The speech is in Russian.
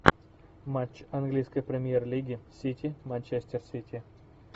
матч английской премьер лиги сити манчестер сити